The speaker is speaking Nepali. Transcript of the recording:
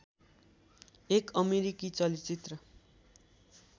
एक अमेरिकी चलचित्र